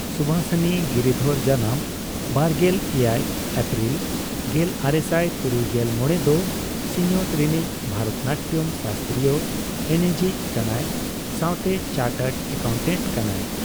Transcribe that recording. ᱥᱩᱵᱷᱟᱥᱤᱱᱤ ᱜᱤᱨᱤᱫᱷᱚᱨ ᱡᱟᱱᱟᱢ ᱒᱗ᱵᱟᱨᱜᱮᱞ ᱮᱭᱟᱭ ᱮᱯᱨᱤᱞ ᱜᱮᱞᱟᱨᱮᱥᱟᱭ ᱛᱩᱨᱩᱜᱮᱞ ᱢᱚᱲᱮ ᱫᱚ ᱥᱤᱧᱚᱛ ᱨᱤᱱᱤᱡ ᱵᱷᱟᱨᱚᱛᱱᱟᱴᱭᱚᱢ ᱥᱟᱥᱛᱨᱤᱭᱚ ᱮᱱᱮᱡᱤᱡ ᱠᱟᱱᱟᱭ ᱥᱟᱣᱛᱮ ᱪᱟᱨᱴᱟᱰ ᱮᱠᱟᱣᱴᱟᱴ ᱠᱟᱱᱟᱭ ᱾